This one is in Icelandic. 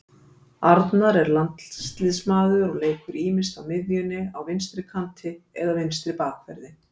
Arnar er landsliðsmaður og leikur ýmist á miðjunni á vinstri kanti eða vinstri bakverði.